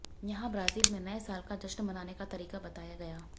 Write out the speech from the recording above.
यहाँ ब्राजील में नए साल का जश्न मनाने का तरीका बताया गया